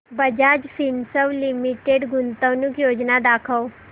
Bajaj Finserv limited गुंतवणूक योजना दाखव